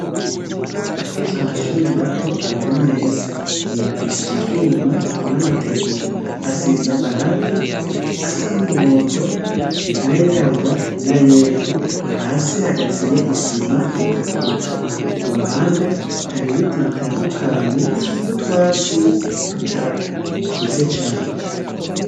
Akenshi amashuri mato aba ari meza, yubakishije ivyuma n'amategura, asize amarangi asa n'umuhondo, n'ayirabura, n'ayera, hasi hagasiye isima itukura, ku ruhande hari ibiti bitandukanye n'utwatsi tudakuze cane.